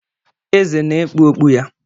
Eze na-ekpu okpu ya